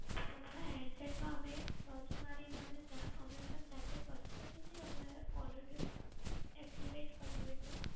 અમારા handset માં અમે search મારીને અમે જા અમે પણ જાતે કરી શકીએ છે? અમને caller tune active કરવી હોય તો?